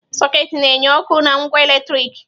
Sọketị na enye ọkụ na ngwa eletriki.